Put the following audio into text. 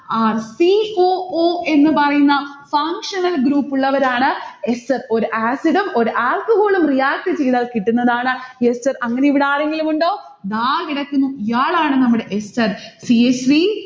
c o o എന്ന് പറയുന്ന functional group ഉള്ളവരാണ് ester ഒരു acid ഉം ഒരു alcohol ഉം react ചെയ്താൽ കിട്ടുന്നതാണ് ester അങ്ങനെ ഇവിടെ ആരെങ്കിലും ഉണ്ടോ? ദാ കിടക്കുന്നു, ഇയാളാണ് നമ്മടെ ester